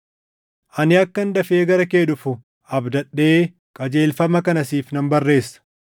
Ani akkan dafee gara kee dhufu abdadhee qajeelfama kana siif nan barreessa;